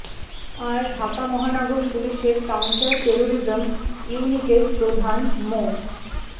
আর ঢাকা মহানগর পুলিশের counter terrorism ইউনিটের প্রধান মো